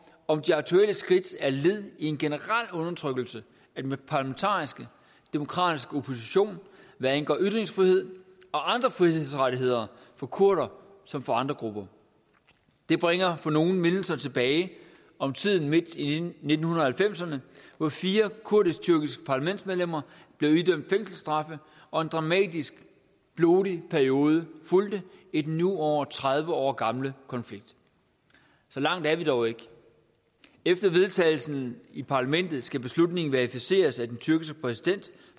om de aktuelle skridt er led i en generel undertrykkelse af den parlamentariske demokratiske opposition hvad angår ytringsfrihed og andre frihedsrettigheder for kurdere som for andre grupper det bringer for nogle mindelser tilbage om tiden midt i nitten halvfemserne hvor fire kurdisk tyrkiske parlamentsmedlemmer blev idømt fængselsstraffe og en dramatisk blodig periode fulgte i den nu over tredive år gamle konflikt så langt er vi dog ikke efter vedtagelsen i parlamentet skal beslutningen verificeres af den tyrkiske præsident